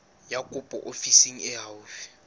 ya kopo ofising e haufi